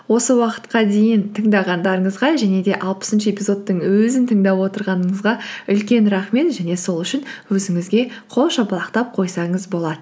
осы уақытқа дейін тыңдағандарыңызға және де алпысыншы эпизодтың өзін тыңдап отырғаныңызға үлкен рахмет және сол үшін өзіңізге қол шапалақтап қойсаңыз болады